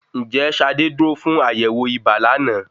Ń jẹ́ ṣadé dúró fún àyẹ̀wọ̀ ibà lánàá?